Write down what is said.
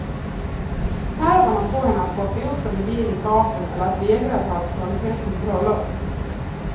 Nerverna får henne att hoppa ut från en bil i farten eller vägra att ha ett ståndsmässigt bröllop.